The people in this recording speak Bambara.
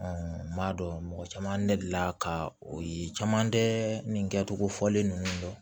n m'a dɔn mɔgɔ caman ne delila ka o ye caman tɛ nin kɛcogo fɔlen ninnu dɔn